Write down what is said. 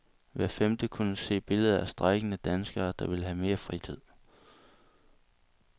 Hver femte kunne se billeder af strejkende danskere, der vil have mere fritid.